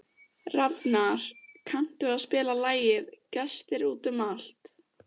Rafnar, kanntu að spila lagið „Gestir út um allt“?